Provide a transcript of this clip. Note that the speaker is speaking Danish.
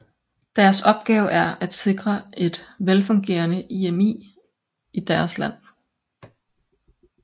Deres opgave er at sikre et velfungerende IMI i deres land